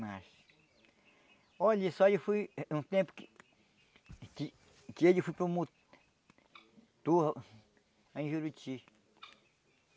Mas... Olha só, eu fui um tempo que... que que ele foi promotor... em Juruti.